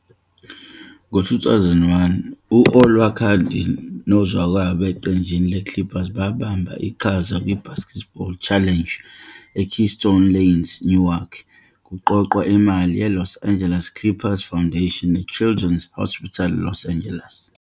Ngo-2001, u-Olowokandi nozakwabo eqenjini le-Clippers babamba iqhaza kwi-BasketBowl Challenge eKeystone Lanes eNorwalk, ukuqoqa imali yeLos Angeles Clippers Foundation ne-Children's Hospital Los Angeles.